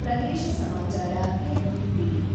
ಪ್ರದೇಶ ಸಮಾಚಾರ ಕೇಳುತ್ತೀದ್ದಿರಿ <><><>